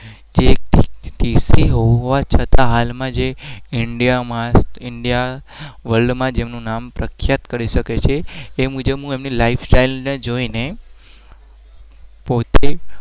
હોવા છતાં